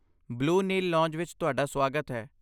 Blue Nile Lounge ਵਿੱਚ ਤੁਹਾਡਾ ਸੁਆਗਤ ਹੈ।